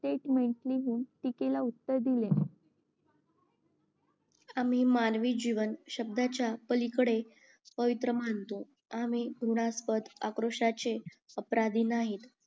टीकेला उत्तर दिले आम्ही मानवी जीवन शब्दाच्या पलीकडे पवित्र मानतो आम्ही हृनास्पद अक्रोष्याचे अपराधी नाही